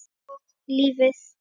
Og lífið.